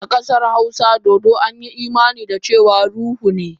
A kasar hausa, dodo an yi imani da cewa ruhu ne.